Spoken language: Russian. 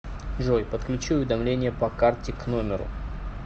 джой подключи уведомление по карте к номеру